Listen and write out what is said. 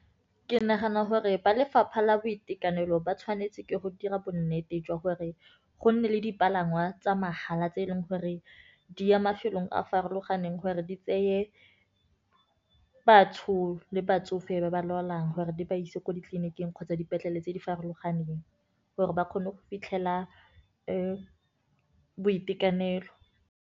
Ke nagana gore ba lefapha la boitekanelo, ba tshwanetse ke go dira bonnete jwa gore go nne le dipalangwa tsa mahala, tse eleng gore di ya mafelong a farologaneng. Gore di tseye batho le batsofe ba ba lwalang, gore di ba ise ko ditleliniking kgotsa dipetlele tse di farologaneng, gore ba kgone go fitlhela boitekanelo.